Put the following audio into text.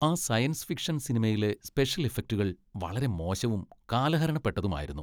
ആ science fiction സിനിമയിലെ special ഇഫക്റ്റുകൾ വളരെ മോശവും, കാലഹരണപ്പെട്ടതുമായിരുന്നു.